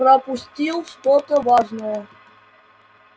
пропустил что-то важное